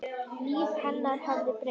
Líf hennar hafði breyst.